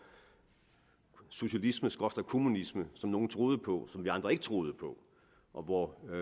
socialismekommunisme som nogle troede på som vi andre ikke troede på og hvor man